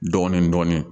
Dɔɔnin dɔɔnin